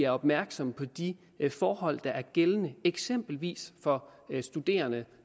opmærksomme på de forhold der er gældende eksempelvis for studerende